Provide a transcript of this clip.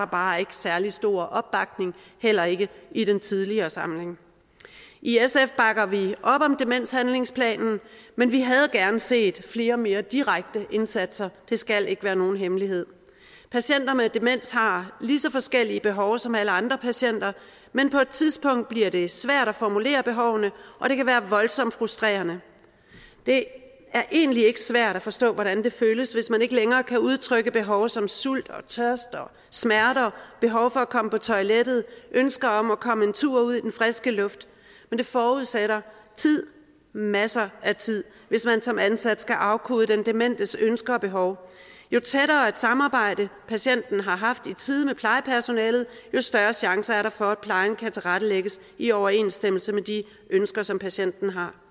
bare ikke særlig stor opbakning heller ikke i den tidligere samling i sf bakker vi op om demenshandlingsplanen men vi havde gerne set flere mere direkte indsatser det skal ikke være nogen hemmelighed patienter med demens har lige så forskellige behov som alle andre patienter men på et tidspunkt bliver det svært at formulere behovene og det kan være voldsomt frustrerende det er egentlig ikke svært at forstå hvordan det føles hvis man ikke længere kan udtrykke behov som sult og tørste og smerter behov for at komme på toilettet ønsker om at komme en tur ud i den friske luft men det forudsætter tid masser af tid hvis man som ansat skal afkode den dementes ønsker og behov jo tættere et samarbejde patienten har haft i tide med plejepersonalet jo større chancer er der for at plejen kan tilrettelægges i overensstemmelse med de ønsker som patienten her